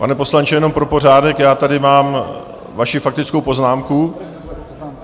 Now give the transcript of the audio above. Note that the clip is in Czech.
Pane poslanče, jenom pro pořádek, já tady mám vaši faktickou poznámku.